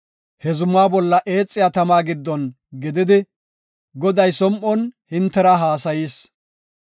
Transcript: He zumaa bolla eexiya tama giddon gididi, Goday som7on hintera haasayis.